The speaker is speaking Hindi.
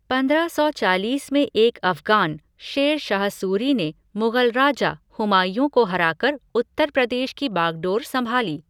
पंद्रह सौ चालीस में एक अफ़ग़ान, शेर शाह सूरी ने मुग़ल राजा, हुमायूँ को हराकर उत्तर प्रदेश की बागडोर संभाली।